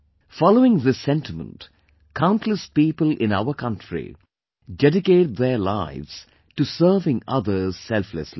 Following this sentiment, countless people in our country dedicate their lives to serving others selflessly